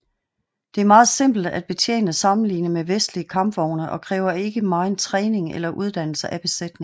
Det er meget simple at betjene sammenlignet med vestlige kampvogne og kræver ikke megen træning eller uddannelse af besætningen